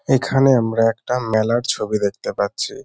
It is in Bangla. এখানে আমরা একটা মেলার ছবি দেখতে পাচ্ছি।